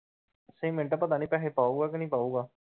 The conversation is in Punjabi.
ਅੱਸੀ ਮਿੰਟ ਪਤਾ ਨੀ ਪੈਸੇ ਪਾਉਗਾ ਕੇ ਨੀ ਪਾਉਗਾ?